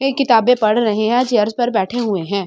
ये किताबे पढ़ रहे हैं चेयर्स पर बैठे हुए हैं।